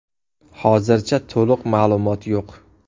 Hozircha to‘liq ma’lumot yo‘q.